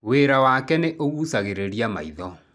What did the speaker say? Wĩra wake nĩ ũgucagĩrĩria maitho.